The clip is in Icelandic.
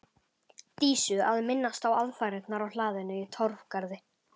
Dísu að minnast á aðfarirnar á hlaðinu í Torfgarði.